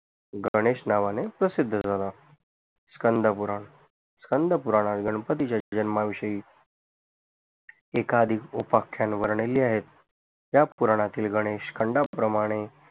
गणेश नावाने प्रसिद्ध झाला स्कंदपूरान स्कंदपुरान हा गणपतीच्या जन्माविषयी एकादी उपाख्यान वरणे या पुराणातील गणेश खंडाप्रमाणे